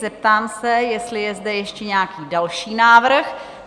Zeptám se, jestli je zde ještě nějaký další návrh?